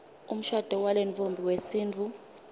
umshado walentfombi wesintfu